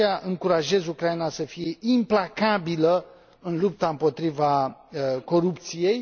De aceea, încurajez Ucraina să fie implacabilă în lupta împotriva corupției